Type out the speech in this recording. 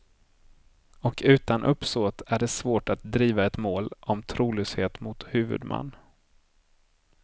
Och utan uppsåt är det svårt att driva ett mål om trolöshet mot huvudman.